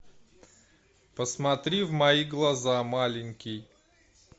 посмотри в мои глаза маленький